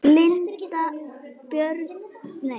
Linda Björg og Birgir Þór.